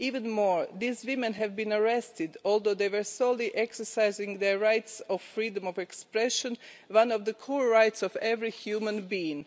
Moreover, these women were arrested although they were solely exercising their right of freedom of expression one of the core rights of every human being.